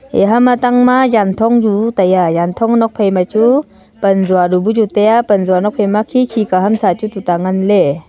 yaha ma tang ma yan thong chu taiya yan thong nok phaima chu panjua du pu chu taiya panjua nok phai ma khikhi ka hamsa chu tu ta ngan le.